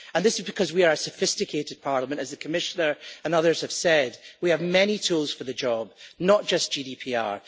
This is because we are a sophisticated Parliament as the Commissioner and others have said, we have many tools for the job, not just GDPR.